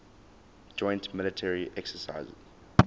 joint military exercises